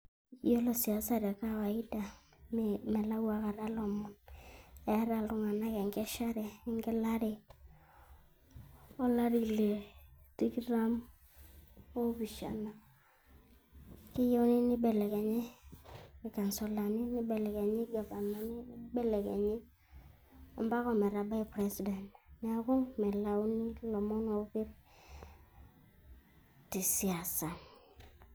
Yiolo siasa te kawaida melau aikata ilomon eeta iltung'anak enkeshare wegelare olari Le tikitam oopishana. Keyieuni neibelekenye irkasulani neibelekenyie irgavanani neibelekenyie ompaka ometabai president. Neaku melauni ilomon oopi tesiasa.